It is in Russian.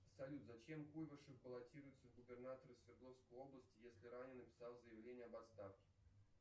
салют зачем куйбышев баллотируется в губернаторы свердловской области если ранее написал заявление об отставке